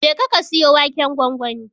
Jeka ka siyo waken gwangwani.